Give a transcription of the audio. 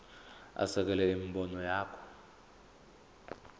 asekele imibono yakhe